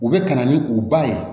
U bɛ ka na ni u ba ye